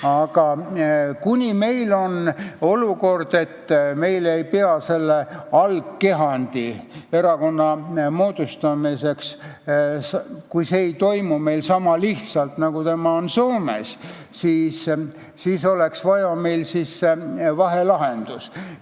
Aga kuni meil selle algkehandi, erakonna moodustamine ei toimu niisama lihtsalt, nagu see on Soomes, siis oleks meil vaja muud lahendust.